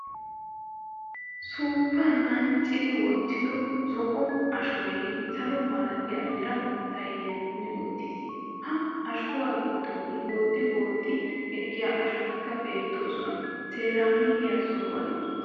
Suuppna anccidi wottiddo zo"o ashoy salo malatiya mera sayniyan kummi uttiis. Ha ashuwa giddon booxxi booxxi ekkiya shotikka bettoosona. Seeramikke sohuwan uttiis.